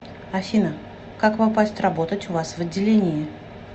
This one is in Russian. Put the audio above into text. афина как попасть работать у вас в отделении